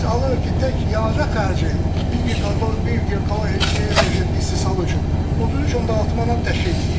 tək yanacaq xərci, bir giqakalori, bir giqakalori elektrik enerjisinin istehsalı üçün 33.6 manat təşkil eləyir.